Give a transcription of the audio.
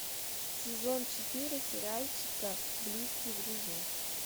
сезон четыре сериальчика близкие друзья